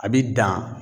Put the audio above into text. A bi dan